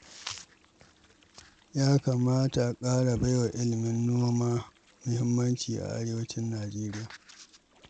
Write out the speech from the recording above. Ya kamata a ƙara baiwa ilimin noma muhimmanci a Arewacin Nijeriya.